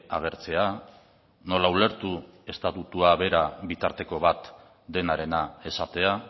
agertzea nola ulertu estatutua bera bitarteko bat denarena esatea